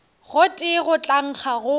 gotee go tla nkga go